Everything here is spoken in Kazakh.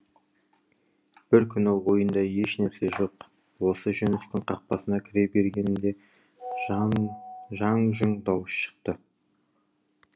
бір күні ойында еш нәрсе жоқ осы жүністің қақпасына кіре бергенімде жаң жұң дауыс шықты